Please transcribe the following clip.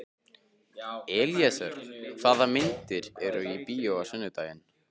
Elíeser, hvaða myndir eru í bíó á sunnudaginn?